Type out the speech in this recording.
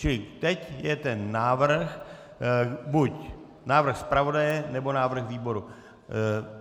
Čili teď je ten návrh, buď návrh zpravodaje, nebo návrh výboru.